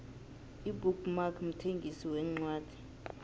ibook mark mthengisi wencwadi